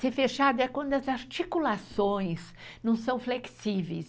Ser fechado é quando as articulações não são flexíveis.